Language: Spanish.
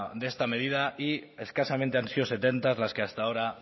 de esta medida y escasamente han sido setenta las que hasta ahora